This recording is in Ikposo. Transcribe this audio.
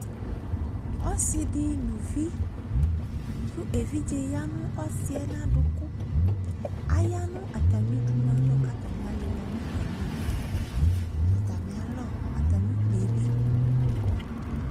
Ɔse de no vi ko evidze yia no ɔsiɛ no uvu Aya no atame udunu alɔ ko atame alela no atame owu Atame alɔ atame ukpie be